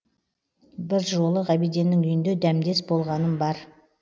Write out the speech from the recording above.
бір жолы ғабиденнің үйінде дәмдес болғаным бар